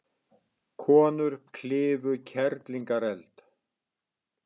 Konur klifu Kerlingareld